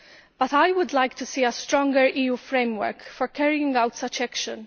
But I would like to see a stronger EU framework for carrying out such action